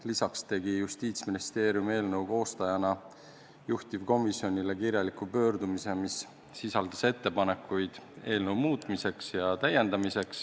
Lisaks tegi Justiitsministeerium eelnõu koostajana juhtivkomisjoni poole kirjaliku pöördumise, mis sisaldas ettepanekuid eelnõu muutmiseks.